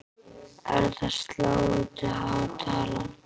Er það sláandi há tala.